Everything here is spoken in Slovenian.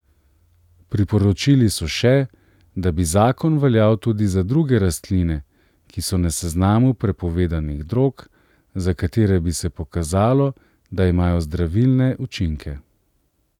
Priporočili so še, da bi zakon veljal tudi za druge rastline, ki so na seznamu prepovedanih drog, za katere bi se pokazalo, da imajo zdravilne učinke.